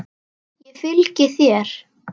Ég fylgi þér!